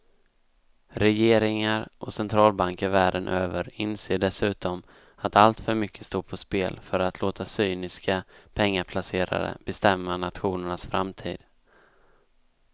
Regeringar och centralbanker världen över inser dessutom att alltför mycket står på spel för att låta cyniska pengaplacerare bestämma nationernas framtid.